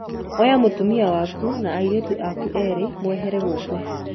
Oya mũtumia waku na airĩtu aku erĩ mwehere gũkũ